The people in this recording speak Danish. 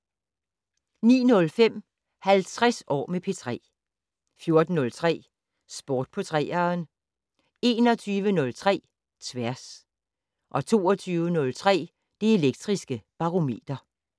09:05: 50 år med P3 14:03: Sport på 3'eren 21:03: Tværs 22:03: Det Elektriske Barometer